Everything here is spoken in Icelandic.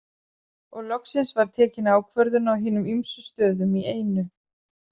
Og loksins var tekin ákvörðun á hinum ýmsu stöðum í einu.